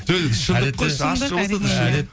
жоқ енді шындық қой шындық әрине